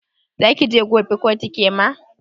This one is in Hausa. Zaki je kotu gobe kema?